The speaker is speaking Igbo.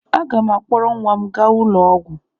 Aga m akpọrọ nwa m gaa ụlọ ọgwụ.